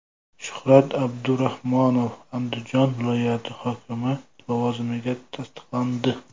Shuhrat Abdurahmonov Andijon viloyati hokimi lavozimiga tasdiqlandi.